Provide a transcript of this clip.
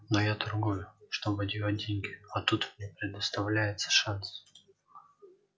но я торгую чтобы делать деньги а тут мне предоставляется шанс